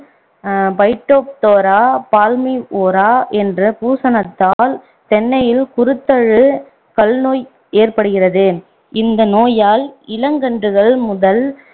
அஹ் Phytophthora, palmivora என்ற் பூசணத்தால் தென்னையில் குருத்தல் கல் நோய் ஏற்படுகிறது இந்த நோயால் இளங்கன்றுகள் முதல்